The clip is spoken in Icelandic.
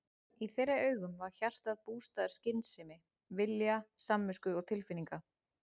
Í þeirra augum var hjartað bústaður skynsemi, vilja samvisku og tilfinninga.